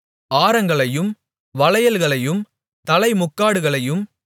ஆரங்களையும் வளையல்களையும் தலைமுக்காடுகளையும்